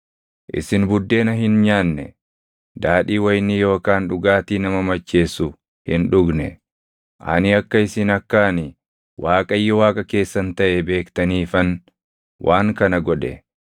Isin buddeena hin nyaanne; daadhii wayinii yookaan dhugaatii nama macheessu hin dhugne. Ani akka isin akka ani Waaqayyo Waaqa keessan taʼe beektaniifan waan kana godhe.